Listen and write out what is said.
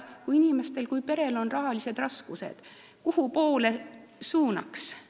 Kui perel on rahalised raskused, kuhu võiks siis abivajaja suunata?